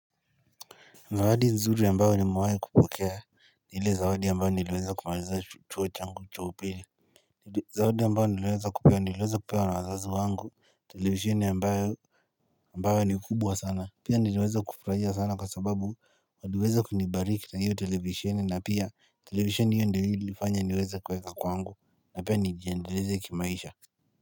Zawadi nzuri ambao nimewai kupokea ni ile zawadi mbao niliweza kumaliza chuo changu cha upili Zawadi ya ambao niliweza kupewa niliweza kupewa na wazazi wangu, televisheni ambayo ambayo ni kubwa sana Pia niliweza kufurahia sana kwa sababu waliweza kunibariki na hiyo televisheni na pia televisheni hiyo ndio ilifanya niweza kuweka kwangu na pia nijiendeleze kimaisha.